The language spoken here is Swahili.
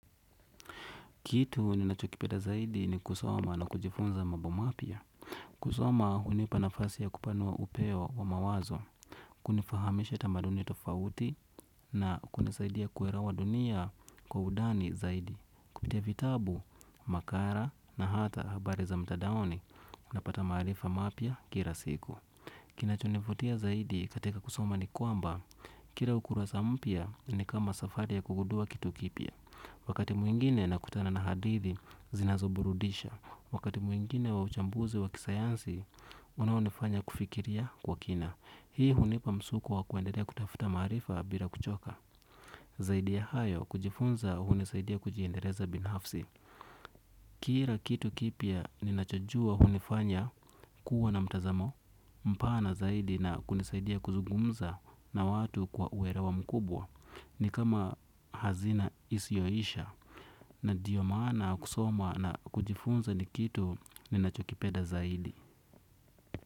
Kitu ninachokipeda zaidi ni kusoma na kujifunza mambo mapya. Kusoma hunipa nafasi ya kupanua upeo wa mawazo. Kunifahamisha tamaduni tofauti na kunisaidia kuelewa dunia kwa undani zaidi. Kupitia vitabu, makala na hata habari za mtadaoni unapata maarifa mapya kila siku. Kinachonivutia zaidi katika kusoma ni kwamba kila ukurasa mpya, ni kama safari ya kugundua kitu kipya. Wakati mwingine nakutana na hadithi, zinazoburudisha. Wakati mwingine wa uchambuzi wa kisayansi, unaonifanya kufikiria kwa kina. Hii hunipa msukumo wa kuendelea kutafuta maarifa bila kuchoka. Zaidi ya hayo, kujifunza hunisaidia kujiendeleza binafsi. Kila kitu kipya ninachojua hunifanya kuwa na mtazamo mpana zaidi na kunisaidia kuzungumza, na watu kwa uelewa mkubwa, ni kama hazina isiyoisha. Na ndio maana kusoma na kujifunza ni kitu ninachokipeda zaidi.